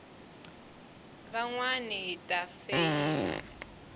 van wana hi ta feyila